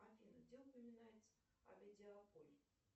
афина где упоминается